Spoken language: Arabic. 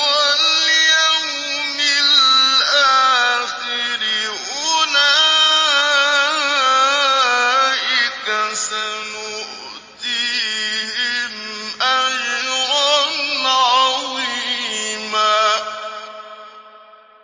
وَالْيَوْمِ الْآخِرِ أُولَٰئِكَ سَنُؤْتِيهِمْ أَجْرًا عَظِيمًا